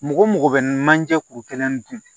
Mɔgɔ mɔgɔ bɛ manje kuru kelen dun